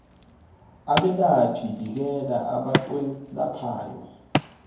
abelaphi bikela abakwelaphayo